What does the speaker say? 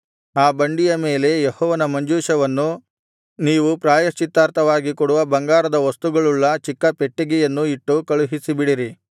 ಆ ಬಂಡಿಯ ಮೇಲೆ ಯೆಹೋವನ ಮಂಜೂಷವನ್ನೂ ನೀವು ಪ್ರಾಯಶ್ಚಿತ್ತಾರ್ಥವಾಗಿ ಕೊಡುವ ಬಂಗಾರದ ವಸ್ತುಗಳುಳ್ಳ ಚಿಕ್ಕ ಪೆಟ್ಟಿಗೆಯನ್ನೂ ಇಟ್ಟು ಕಳುಹಿಸಿಬಿಡಿರಿ